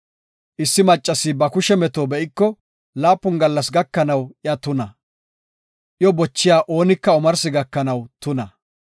“Issi maccasi ba kushe meto be7iko, laapun gallas gakanaw iya tuna; iyo bochiya oonika omarsi gakanaw tuna.